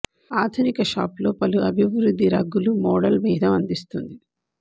ఆధునిక షాప్ లో పలు అభివృద్ధి రగ్గులు మోడల్ భేదం అందిస్తుంది